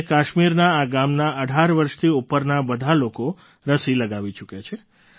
આજે કાશ્મીરના આ ગામના ૧૮ વર્ષથી ઉપરના બધા લોકો રસી લગાવી ચૂક્યા છે